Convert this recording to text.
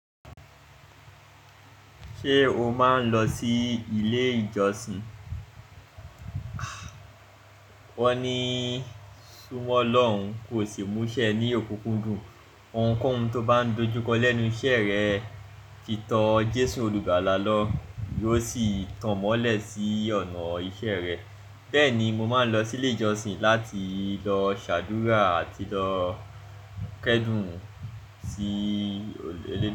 Ṣé o máa ń lọ sí ilé ìjọsìn? Wọ́n ní sùnmọ́ Ọlọ́run kò sì múṣẹ ní òkúkúndùn. Òunkóhun tó bá ń dojú kọ lẹ́nu iṣẹ́ rẹ ti tọ Jésù Olùgbàlà lọ yóò sì tanmọ́lẹ̀ sí ọ̀nà ìṣe rẹ. Bẹ́ẹ̀ ni, mo máa ń lọ sí ilé ìjọsìn láti lọ ṣàdúrà àti lọ kẹ́dùn sí Olú.